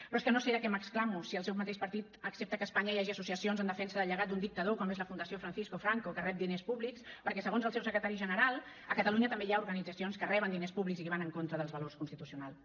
però és que no sé de què m’exclamo si el seu mateix partit accepta que a espanya hi hagi associacions en defensa del llegat d’un dictador com és la fundació francisco franco que rep diners públics perquè segons el seu secretari general a catalunya també hi ha organitzacions que reben diners púbics i van en contra dels valors constitucionals